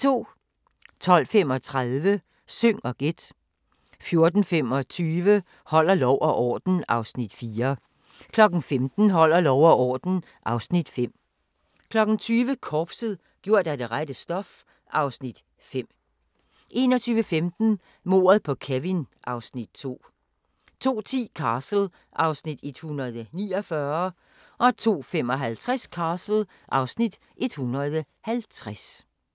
12:35: Syng og gæt 14:25: Holder lov og orden (Afs. 4) 15:00: Holder lov og orden (Afs. 5) 20:00: Korpset - gjort af det rette stof (Afs. 5) 21:15: Mordet på Kevin (Afs. 2) 02:10: Castle (Afs. 149) 02:55: Castle (Afs. 150)